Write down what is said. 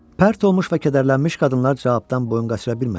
Pərt olmuş və kədərlənmiş qadınlar cavabdan boyun qaçıra bilmədilər.